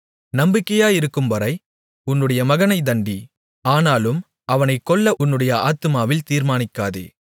நம்பிக்கையிருக்கும்வரை உன்னுடைய மகனைத் தண்டி ஆனாலும் அவனைக் கொல்ல உன்னுடைய ஆத்துமாவில் தீர்மானிக்காதே